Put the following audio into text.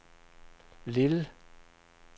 Lille